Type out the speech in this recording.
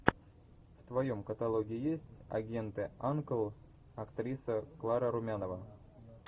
в твоем каталоге есть агенты анкл актриса клара румянова